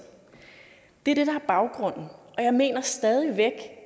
det er det der er baggrunden og jeg mener stadig væk